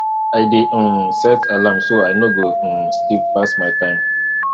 i dey um set two alarms so i no go um sleep pass my time